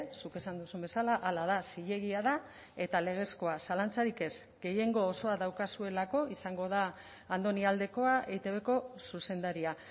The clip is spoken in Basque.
zuk esan duzun bezala hala da zilegia da eta legezkoa zalantzarik ez gehiengo osoa daukazuelako izango da andoni aldekoa eitbko zuzendaria